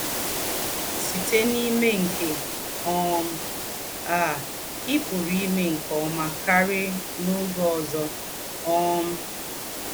Sítè n’ímè nké um à, ì̀ pùrù ímè nké ọ́mà kárì n’ógé ózọ́.” um